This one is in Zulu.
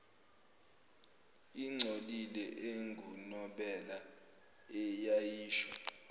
engcolile engunobela eyayisho